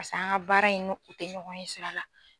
Pase an ka baara in nu u tɛ ɲɔgɔn ɲɛsira la.